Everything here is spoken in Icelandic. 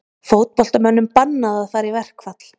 Fótboltamönnum bannað að fara í verkfall